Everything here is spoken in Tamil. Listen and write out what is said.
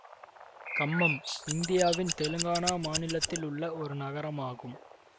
கம்மம் இந்தியாவின் தெலுங்கானா மாநிலத்திலுள்ள ஒரு நகரம் ஆகும்